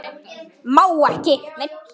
Má ekki.